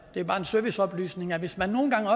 er bare en serviceoplysning at hvis man nogle gange